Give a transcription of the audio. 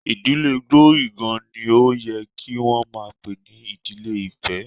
Ìdílé Glory gan-an ni ó yẹ kí wọn máa pè ní Ìdílé ìfẹ́.